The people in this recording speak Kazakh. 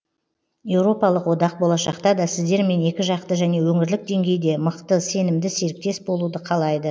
еуропалық одақ болашақта да сіздермен екіжақты және өңірлік деңгейде мықты сенімді серіктес болуды қалайды